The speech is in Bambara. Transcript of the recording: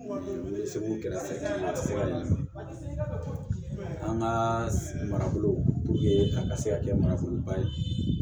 An ka marabolo a ka se ka kɛ manaforoba ye